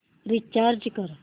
recharge कर